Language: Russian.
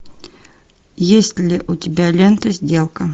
есть ли у тебя лента сделка